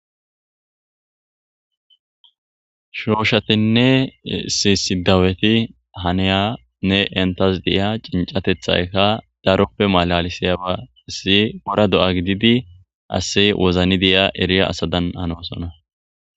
Shooshatinne si sidaweti haneyanne entas deia cincatethayka daroppe malalisiyaba issi wora do'a gididi ase wozani deyia eriya asadan hanoosona.